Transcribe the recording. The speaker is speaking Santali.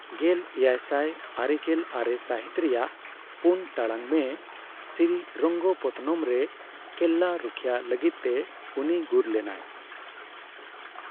ᱜᱮᱞ ᱮᱭᱟᱭᱥᱟᱭ ᱟᱨᱮᱜᱮᱞ ᱟᱨᱮ ᱥᱟᱹᱦᱤᱛ ᱨᱮᱭᱟᱜ ᱯᱩᱱ ᱴᱟᱲᱟᱝ ᱢᱮ ᱥᱨᱤᱨᱚᱝᱜᱚᱯᱚᱛᱛᱚᱱᱚᱢ ᱨᱮ ᱠᱮᱞᱞᱟ ᱨᱩᱠᱷᱭᱟᱹ ᱞᱟᱹᱜᱤᱫᱛᱮ ᱩᱱᱤ ᱜᱩᱨ ᱞᱮᱱᱟᱭ ᱾